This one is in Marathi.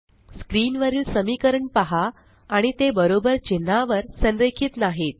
स्क्रीन वरील समीकरण पहा आणि ते बरोबर चिन्हावर संरेखित नाहीत